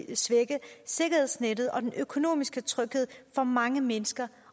vil svække sikkerhedsnettet og den økonomiske tryghed for mange mennesker